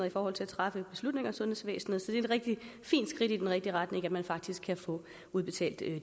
i forhold til at træffe beslutninger i sundhedsvæsenet så det er et rigtig fint skridt i den rigtige retning at man faktisk kan få udbetalt